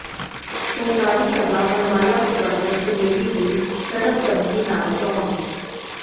ਸਹਿਕਾਰੀ ਸਭਾ ਮੱਲਵਾਲਾ ਪ੍ਰਬੰਧਕ ਕਮੇਟੀ ਦੀ ਸਰਬਸੰਮਤੀ ਨਾਲ ਚੋਣ